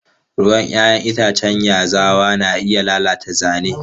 Ruwan 'ya'yan itacen yazawa na iya lalata zane.